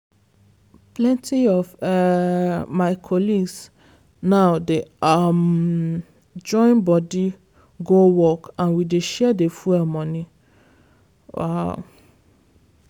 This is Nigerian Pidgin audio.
plenty of um my colleagues now dey um join body go work and we dey share the fuel money. um